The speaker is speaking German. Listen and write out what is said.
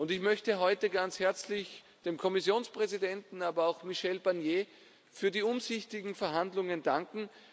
Ich möchte heute ganz herzlich dem Kommissionspräsidenten, aber auch Michel Barnier, für die umsichtigen Verhandlungen danken.